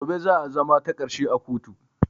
Gobe za a zama takarshe a kotun